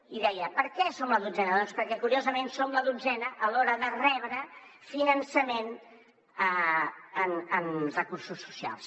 i deia per què som la dotzena doncs perquè curiosament som la dotzena a l’hora de rebre finançament en recursos socials